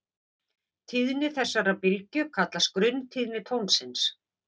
Tíðni þessarar bylgju kallast grunntíðni tónsins.